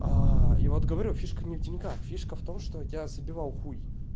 я вот говорю фишка не в деньгах фишка в том что я забивал хуй